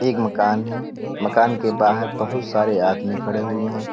एक मकान है। मकान के बाहर बहुत सारे आदमी खड़े हुए हैं।